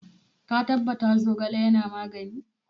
Ka tabbata Zogale yana magani?